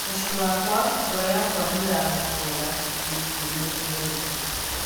Mũciĩ wakwa, ngoro yakwa nĩratura ndingĩũmĩrĩria rĩngĩ